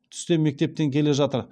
түсте мектептен келе жатыр